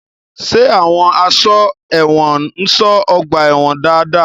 Ṣé àwọn àsọ́gbà ẹ̀wọ̀n ń ṣọ́ ọgbà-ẹ̀wọ̀n dáadáa?